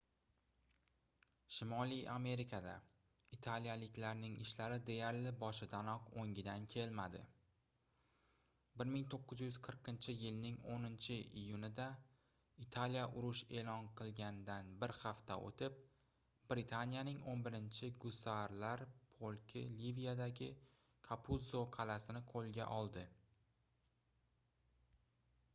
shimoliy amerikada italiyaliklarning ishlari deyarli boshidanoq oʻngidan kelmadi 1940-yilning 10-iyunida italiya urush eʼlon qilgandan bir hafta oʻtib britaniyaning 11-gussarlar polki liviyadagi kapuzzo qalʼasini qoʻlga oldi